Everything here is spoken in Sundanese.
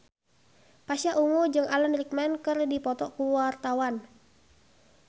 Pasha Ungu jeung Alan Rickman keur dipoto ku wartawan